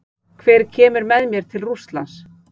Hver kemur með mér til Rússlands?